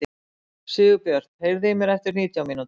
Sigurbjört, heyrðu í mér eftir nítján mínútur.